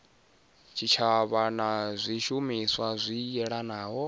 tshitshavha na zwishumiswa zwi yelanaho